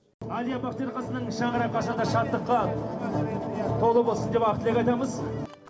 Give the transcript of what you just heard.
әлия бактерқызының шаңырағы қашанда шаттыққа толы болсын деп ақ тілек айтамыз